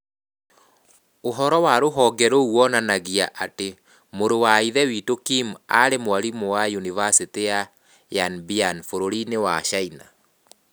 Ũhoro wa rũhonge rũu wonanagia atĩ Mũrũ wa Ithe Witũ Kim aarĩ mwarimũ wa Yunivasĩtĩ ya Yanbian bũrũri-inĩ wa China.